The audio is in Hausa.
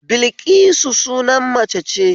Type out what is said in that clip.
Bilƙisu sunan mace ce